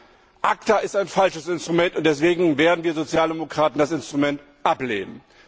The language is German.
Nein, ACTA ist ein falsches Instrument, und deswegen werden wir Sozialdemokraten das Instrument ablehnen.